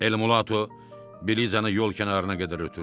Elmulato Belizanı yol kənarına qədər ötürdü.